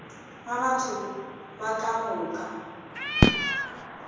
ga batho ba ka moka